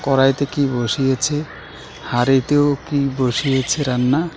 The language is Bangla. কড়াইতে কি বসিয়েছে হাঁড়িতেও কি বসিয়েছে রান্না.